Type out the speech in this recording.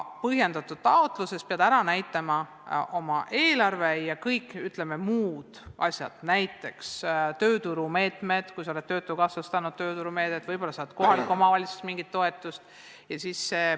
Põhjendatud taotluses pead ära näitama oma eelarve ja kõik muud asjad, näiteks tööturumeetmed, mida oled Töötukassast saanud, võib-olla saad ka kohalikust omavalitsusest mingisugust toetust.